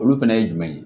Olu fɛnɛ ye jumɛn ye